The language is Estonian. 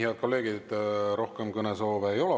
Head kolleegid, rohkem kõnesoove ei ole.